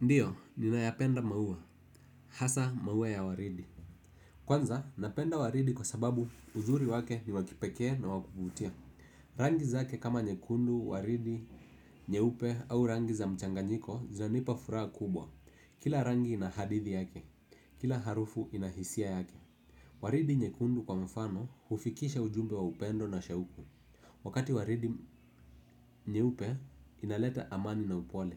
Ndio, ninayapenda maua, hasa maua ya waridi. Kwanza, napenda waridi kwa sababu uzuri wake ni wa kipekee na wa kuvutia. Rangi zake kama nyekundu, waridi, nyeupe au rangi za mchanganyiko, zinanipa furaha kubwa. Kila rangi ina hadithi yake, kila harufu ina hisia yake. Waridi nyekundu kwa mfano, hufikisha ujumbe wa upendo na shauku. Wakati waridi nyeupe inaleta amani na upole.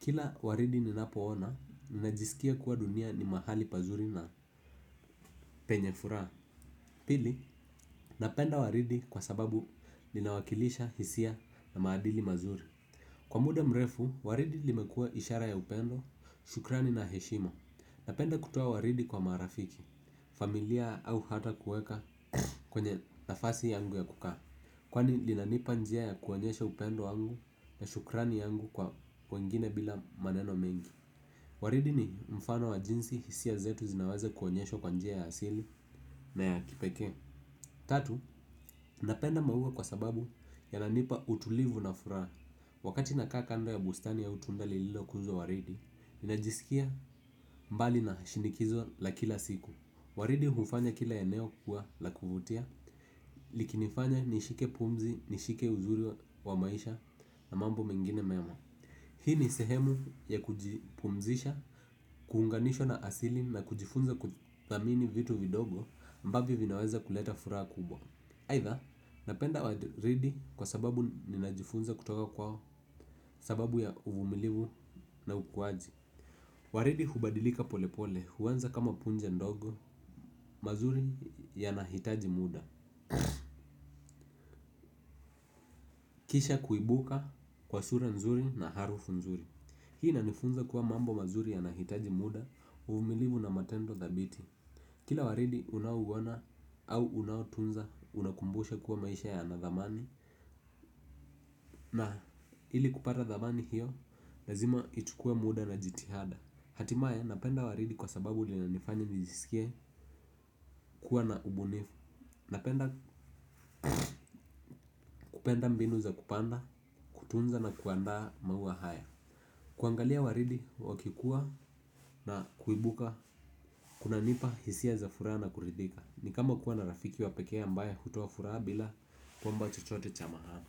Kila waridi ninapoona, ninajisikia kuwa dunia ni mahali pazuri na penye furaha. Pili, napenda waridi kwa sababu linawakilisha hisia na maadili mazuri. Kwa muda mrefu, waridi limekua ishara ya upendo, shukrani na heshima. Napenda kutoa waridi kwa marafiki. Familia au hata kuweka kwenye nafasi yangu ya kukaa. Kwani linanipa njia ya kuonyesha upendo wangu na shukrani yangu kwa wengine bila maneno mengi. Waridi ni mfano wa jinsi hisia zetu zinawaza kuonyeshwa kwa njia ya asili, na ya kipekee. Tatu, napenda maua kwa sababu yananipa utulivu na furaha. Wakati nakaa kando ya bustani au tunda lililokuzwa waridi, najisikia mbali na shinikizo la kila siku. Waridi hufanya kila eneo kukua la kuvutia. Likinifanya nishike pumzi, nishike uzuri wa maisha, na mambo mengine mema. Hii ni sehemu ya kujipumzisha, kuunganishwa na asili na kujifunza kuthamini vitu vidogo ambavyo vinaweza kuleta furaha kubwa. Aidha, napenda waridi kwa sababu ninajifunza kutoka kwa sababu ya uvumilivu na ukuaji. Waridi hubadilika polepole, huanza kama punja ndogo, mazuri yanahitaji muda. Kisha kuibuka kwa sura nzuri na harufu nzuri hii inanifunza kuwa mambo mazuri yanahitaji muda, uvumilivu na matendo thabiti. Kila waridi unao uona au unotunza, unakukumbusha kuwa maisha yana thamani. Na ili kupata thamani hio lazima ichukue muda na jitihada. Hatimaye, napenda waridi kwa sababu linanifanya nijisikie kuwa na ubunifu. Napenda mbinu za kupanda, kutunza na kuandaa maua haya. Kuangalia waridi wakikua na kuibuka kunanipa hisia za furaha na kuridhika. Ni kama kuwa na rafiki wa pekee ambaye hutoa furaha bila kuomba chochote cha maana.